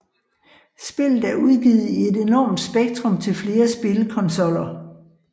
Spillet er udgivet i et enormt spektrum til flere spilkonsoller